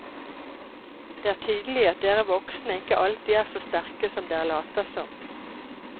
Det er tydelig at dere voksne ikke alltid er så sterke som dere later som.